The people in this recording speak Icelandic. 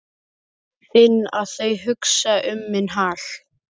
Finn að þau hugsa um minn hag.